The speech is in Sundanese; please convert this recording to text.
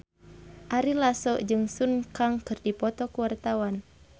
Ari Lasso jeung Sun Kang keur dipoto ku wartawan